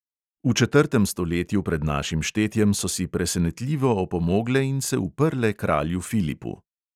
V četrtem stoletju pred našim štetjem so si presenetljivo opomogle in se uprle kralju filipu.